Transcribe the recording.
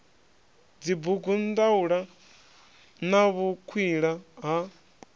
dzibugu ndaula na vhukwila ha